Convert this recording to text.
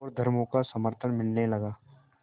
और धर्मों का समर्थन मिलने लगा